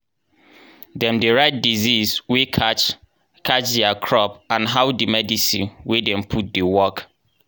dem dey write disease wey catch catch diir crop and how di medicine wey dem put dey work.